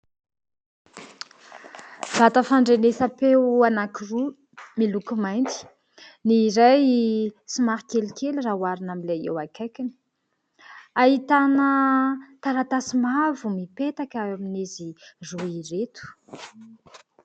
Vata fandrenesam-peo anankiroa miloko mainty : ny iray somary kelikely raha oharina amin'ilay eo akaikiny, ahitana taratasy mavo mipetaka ao amin'izy roa ireto.